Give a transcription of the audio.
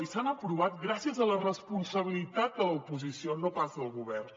i s’han aprovat gràcies a la responsabilitat de l’oposició no pas del govern